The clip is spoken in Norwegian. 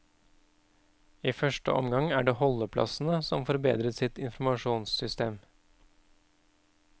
I første omgang er det holdeplassene som får bedret sitt informasjonssystem.